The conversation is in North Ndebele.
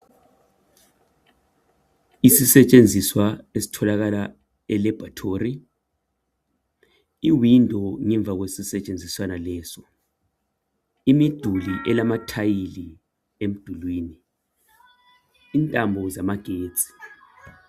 Isisetshenziswa esitholakala elabhorithori. Iwindi ngemva kwesisetshenziswana leso. Imiduli elamathayili emdulini. Intambo zamagetsi.